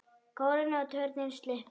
Kórinn og turninn sluppu.